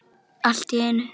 Allt í einu.